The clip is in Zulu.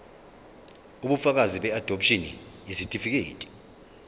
ubufakazi beadopshini isitifikedi